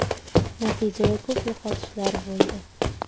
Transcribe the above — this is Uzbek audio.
Natijada ko‘p yo‘qotishlar bo‘ldi.